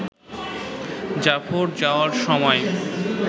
জাফর যাওয়ার সময়